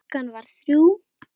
Klukkan varð þrjú.